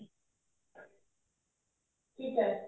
ਠੀਕ ਏ